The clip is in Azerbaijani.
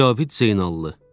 Cavid Zeynalov.